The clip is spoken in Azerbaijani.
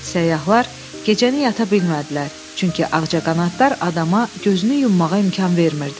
Səyyahlar gecəni yata bilmədilər, çünki ağcaqanadlar adama gözünü yummağa imkan vermirdi.